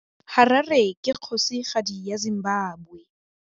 Harare ke kgosigadi ya Zimbabwe.